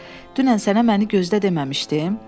Dünən sənə məni gözdə deməmişdim?